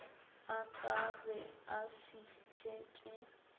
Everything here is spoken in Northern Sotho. a ka be a fihletše